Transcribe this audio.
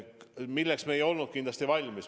Milleks me ei olnud kindlasti valmis?